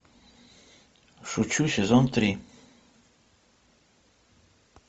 шучу сезон три